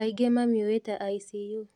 Aingĩ mamĩũĩ ta icu